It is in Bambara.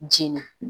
Jina